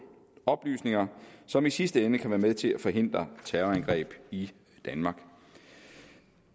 oplysninger som i sidste ende kan være med til at forhindre terrorangreb i danmark